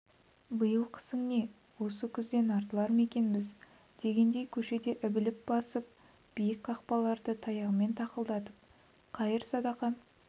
биыл қысың не осы күзден артылар ма екенбіз дегендей көшеде ілбіп басып биік қақпаларды таяғымен тақылдатып қайыр-садақа